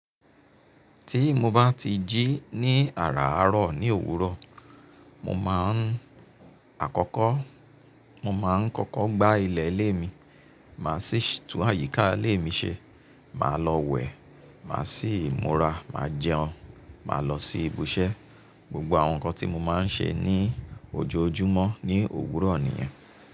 Tí mo bá ti jí ní àràárọ̀ ní òwúrọ̀, mo máa ń àkọ́kọ́, mo máa ń kọ́kọ́ gbá ilẹ̀ ilé mi, màá sì tún àyíká ilé mi ṣe, màá lọ wẹ̀, màá sì múra, màá jẹun, màá lọ sí ibùṣẹ́. Gbogbo àwọn nǹkan tí mo máa ń ṣe ní ojoojúmọ́ ní òwúrọ̀ nìyẹn.